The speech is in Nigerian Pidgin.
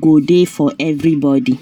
go dey for everybody